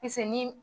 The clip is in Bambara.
Pis ni